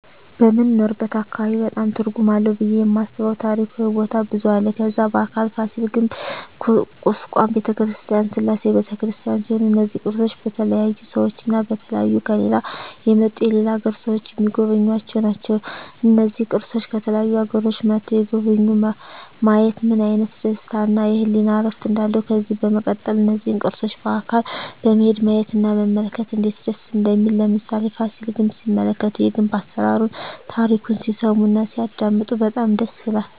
በምንኖርበት አካባቢ በጣም ትርጉም አለው ብየ የማስበው ታሪካዊ ቦታ ብዙ አለ ከዛ በአካል ፋሲል ግንብ ኩስካም በተክርስቲያን ስላሴ በተክርስቲያን ሲሆኑ እነዚ ቅርሶች በተለያዩ ሰዎች እና በተለያዩ ከሌላ የመጡ የሌላ አገር ሰዎች ሚጎበኙአቸው ናቸው እና እነዚህን ቅርሶች ከተለያዩ አገሮች መጥተዉ የጎበኙ ማየት ምን አይነት ደስታ እና የህሊና እርፍ እንዳለው ከዚህ በመቀጠል እነዚህን ቅርሶች በአካል በመሄድ ማየት እና መመልከት እነዴት ደስ እንደሚል ለምሳሌ ፋሲል ግንብ ሲመለከቱ የግንብ አሰራሩን ታሪኩን ሲሰሙ እና ሲያደመጡ በጣም ደስ ይላል